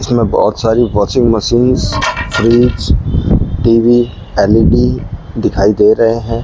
इसमें बहोत सारी washing machine fridge TV LED दिखाई दे रहे हैं।